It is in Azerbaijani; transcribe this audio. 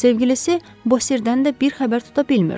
Sevgilisi Bosirdən də bir xəbər tuta bilmirdi.